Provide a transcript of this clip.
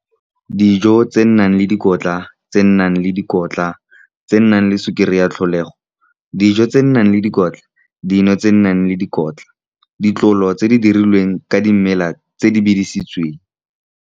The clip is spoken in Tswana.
Dijo tse di nang le dikotla, tse di nang le sukiri ya tlholego, dino tse di nang le dikotla, le ditlolo tse di dirilweng ka dimela tse dirisitsweng.